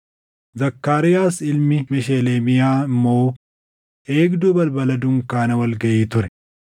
Zakkaariyaas ilmi Mesheleemiyaa immoo eegduu balbala dunkaana wal gaʼii ture.